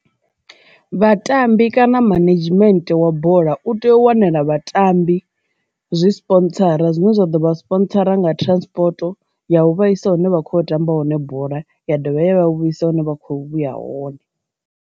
Vhatambi kana management wa bola u tea u wanela vhatambi zwi sponsora zwine zwa ḓo vha sponsora nga transport ya u vha isa hune vha kho tamba hone bola ya dovha ya vha vhuisa hune vha kho vhuya hone.